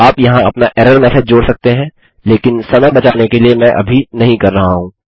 आप यहाँ अपना एरर मैसेज जोड़ सकते हैं लेकिन समय बचाने के लिए मैं अभी नहीं कर रहा हूँ